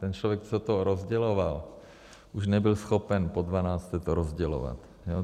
Ten člověk, co to rozděloval, už nebyl schopen po dvanácté to rozdělovat.